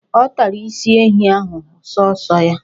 Ọ tara isi ehi ahụ sọọsọ ya.